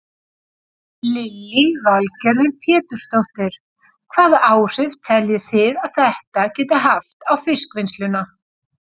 Lillý Valgerður Pétursdóttir: Hvaða áhrif telji þið að þetta geti haft á fiskvinnsluna?